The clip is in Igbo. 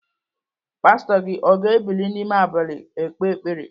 Pastọ gị o ga-ebili n'ime abalị ekpe ekpere?